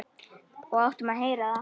Og áttum að heyra það.